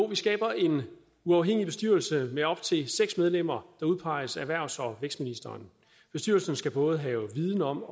vi skaber en uafhængig bestyrelse med op til seks medlemmer der udpeges af erhvervs og vækstministeren bestyrelsen skal både have viden om